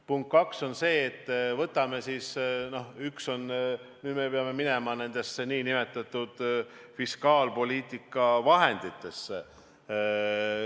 Punkt kaks on see, et me peame minema nendesse nn fiskaalpoliitika vahenditesse.